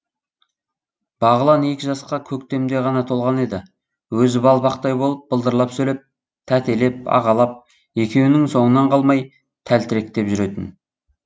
бағлан екі жасқа көктемде ғана толған еді өзі балпақтай болып былдырлап сөйлеп тәтелеп ағалап екеуінің соңынан қалмай тәлтіректеп жүретін